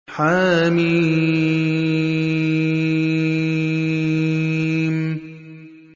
حم